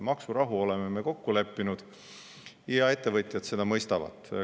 Maksurahu oleme me kokku leppinud ja ettevõtjad seda mõistavad.